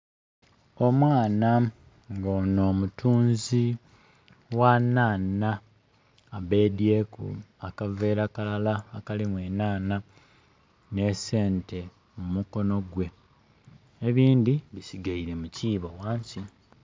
Omwaana nga ono mutunzi gha nhanha abedhyeku akavera kalala akalimu enanha ne sente mumukono gwe, ebindhi bisigeira mu kiibo ghansi.